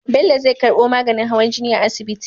Bello zai karbo maganin hawan jini a asibiti